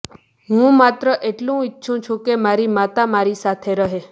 હું માત્ર એટલું ઈચ્છું છું કે મારી માતા મારી સાથે રહે